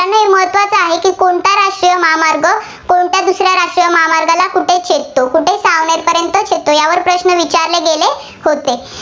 कुठे छेदतो? कुठे सावनेरपर्यंत छेदतो. यावर प्रश्न विचारले गेले होते.